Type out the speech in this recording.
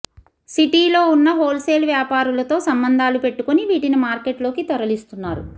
సిటీలో ఉన్న హోల్సేల్ వ్యాపారులతో సంబంధాలు పెట్టుకుని వీటిని మార్కెట్లోకి తరలిస్తున్నారు